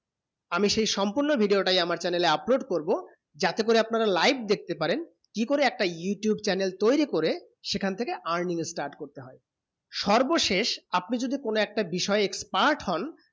আমি সেই সম্পূর্ণ video টা আমার channel এ করবো যাতে করে আপনারা live দেখতে পারেন কি করে একটা youtube channel তয়রি করে সেখান থেকে earning start করা হয়ে সর্বশেষ আপনি যদি কোনো একটি বিষয়ে expert হন